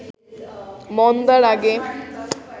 মন্দার আগে